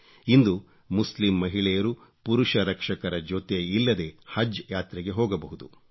ಇಂದು ಮುಸ್ಲಿಂ ಮಹಿಳೆಯರು ಪುರುಷ ರಕ್ಷಕರ ಜೊತೆ ಇಲ್ಲದೆ ಹಜ್ ಯಾತ್ರೆಗೆ ಹೋಗಬಹುದು